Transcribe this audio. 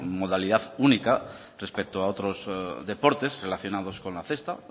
modalidad única respecto a otros deportes relacionados con la cesta